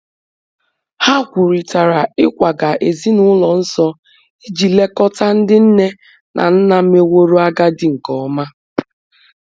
Ha kwurịtara ịkwaga ezinụlọ nso iji lekọta ndị nne na nna meworo agadi nke ọma.